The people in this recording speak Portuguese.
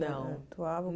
Não.